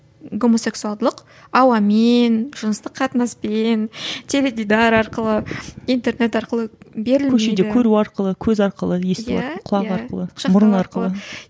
гомосексуалдылық ауамен жыныстық қатынаспен теледидар арқылы интернет арқылы берілмейді көшеде көру арқылы көз арқылы есту арқылы құлақ арқылы мұрын арқылы